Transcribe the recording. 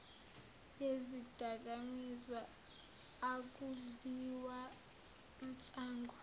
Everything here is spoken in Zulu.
yezidakamizwa akudliwa nsangu